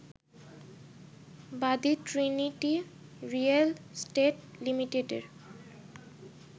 বাদী Trinity real estate লিমিটেডের